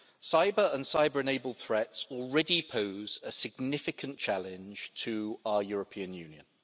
Cyber and cyber-enabled threats already pose a significant challenge to our European Union.